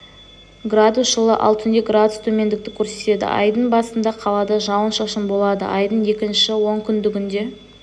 градус жылы ал түнде градус төмендікті көрсетеді айдың басында қалада жауын-шашын болады айдың екінші онкүндігінде